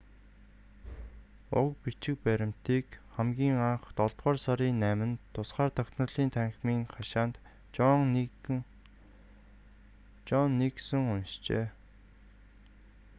уг баримт бичгийг хамгийн анх долдугаар сарын 8-нд тусгаар тогтнолын танхимын хашаанд жон никсон уншжээ